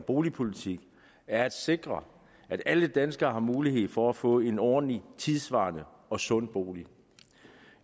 boligpolitik er at sikre at alle danskere har mulighed for at få en ordentlig tidssvarende og sund bolig